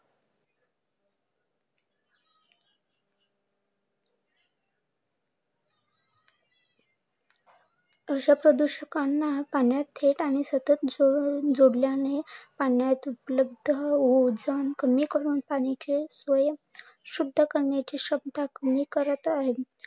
असा प्रदुषक ना पाण्यात थेट जोडल्याने पाण्यात उपलब्ध ओझोन कमी करून पाण्याची शुद्ध करण्याची क्षमता कमी करत आहे.